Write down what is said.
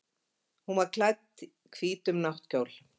Hún var klædd hvítum náttkjól.